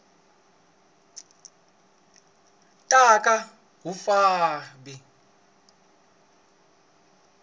ta ka wu nga vi